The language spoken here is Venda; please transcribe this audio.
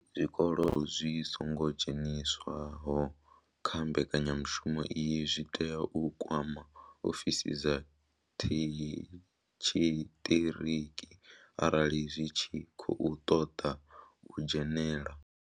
Zwikolo zwi songo dzheniswaho kha mbekanyamushumo iyi zwi tea u kwama ofisi dza tshiṱiriki arali zwi tshi khou ṱoḓa u dzhenela.